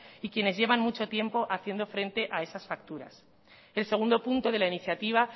y quienes llevan mucho tiempo haciendo frente a esas facturas el segundo punto de la iniciativa